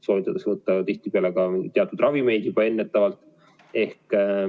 Soovitatakse tihtipeale võtta teatud ravimeid juba ennetavalt.